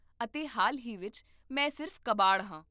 ਅਤੇ ਹਾਲ ਹੀ ਵਿੱਚ, ਮੈਂ ਸਿਰਫ਼ ਕਬਾੜ ਹਾਂ